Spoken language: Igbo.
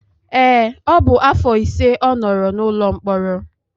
Ee, ọ bụ afọ ise ọ nọrọ n'ụlọ mkpọrọ